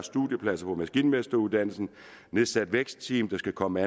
studiepladser på maskinmesteruddannelsen nedsat vækstteam der skal komme